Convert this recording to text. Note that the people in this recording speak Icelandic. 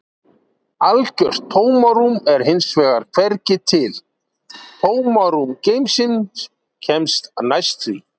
Algjört tómarúm er hins vegar hvergi til, tómarúm geimsins kemst næst því.